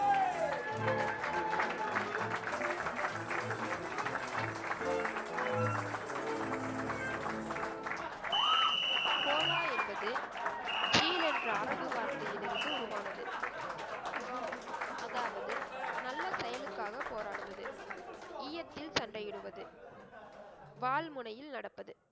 ஹோலா என்பது, சீல் என்ற அரபு வார்த்தையில் இருந்து உருவானது. அதாவது, நல்ல செயலுக்காக போராடுவது. இய்யத்தில் சண்டையிடுவது, வாள் முனையில் நடப்பது,